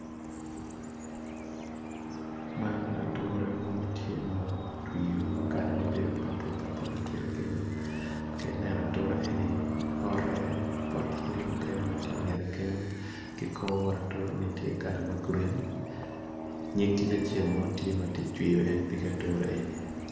Man ature ma kalane bedo papulpapul ka ineno ature eni ki pot yadi mukene ki nyif kic acel tye ka cwiyo ature eni